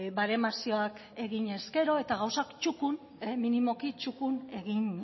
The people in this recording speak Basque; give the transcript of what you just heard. baremazioak egin ezkero eta gauzak minimoki txukun egin